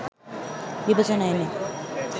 বিবেচনায় এনে